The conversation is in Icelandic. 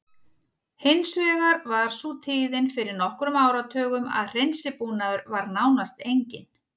Hins vegar var sú tíðin fyrir nokkrum áratugum að hreinsibúnaður var nánast enginn.